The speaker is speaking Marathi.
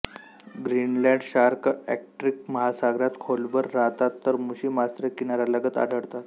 ग्रीनलंड शार्क आर्क्टिक महासागरात खोलवर राहतात तर मुशी मासे किनाऱ्यालगत आढळतात